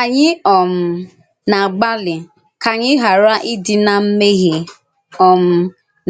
Ànyì um na-àgbàlị ka ànyì ghàrà ídí na mmèhíè um